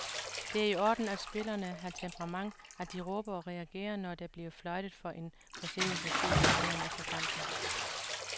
Det er i orden, at spillerne har temperament, at de råber og reagerer, når der bliver fløjtet for en forseelse, siger han dagen efter kampen.